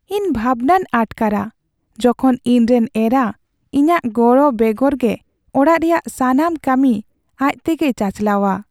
ᱤᱧ ᱵᱷᱟᱵᱽᱱᱟᱧ ᱟᱴᱠᱟᱨᱟ ᱡᱚᱠᱷᱚᱱ ᱤᱧᱨᱮᱱ ᱮᱨᱟ ᱤᱧᱟᱹᱜ ᱜᱚᱲᱚ ᱵᱮᱜᱚᱨ ᱜᱮ ᱚᱲᱟᱜ ᱨᱮᱭᱟᱜ ᱥᱟᱱᱟᱢ ᱠᱟᱹᱢᱤ ᱟᱡ ᱛᱮᱜᱮᱭ ᱪᱟᱪᱟᱞᱟᱣᱟ ᱾